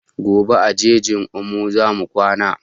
Gobe a jejin omo zamu kwana